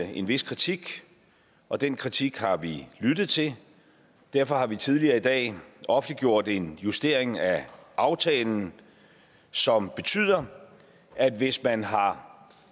en vis kritik og den kritik har vi lyttet til derfor har vi tidligere i dag offentliggjort en justering af aftalen som betyder at hvis man har